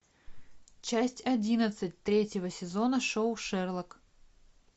часть одиннадцать третьего сезона шоу шерлок